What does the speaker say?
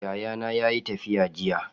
Yayana yayi tafiya jiya.